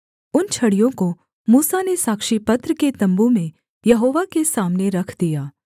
उन छड़ियों को मूसा ने साक्षीपत्र के तम्बू में यहोवा के सामने रख दिया